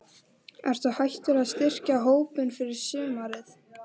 Ertu hættur að styrkja hópinn fyrir sumarið?